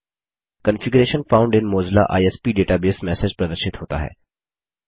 configuration found in Mozilla ISP database message प्रदर्शित होता है